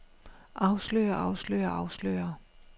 afslører afslører afslører